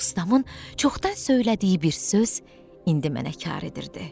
Ustamın çoxdan söylədiyi bir söz indi mənə kar edirdi.